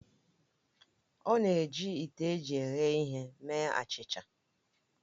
Ọ na-eji ite eji eghe ihe eme achịcha